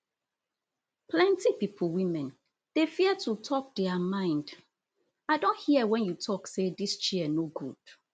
plenti pipo women dey fear to tok dia mind i don hear wen you tok say dis chair no good